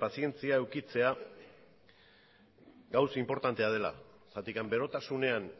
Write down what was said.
pazientzia edukitzea gauza inportantea dela zergatik berotasunean